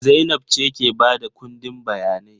Zainab ce ke ba da ƙundin jawabai.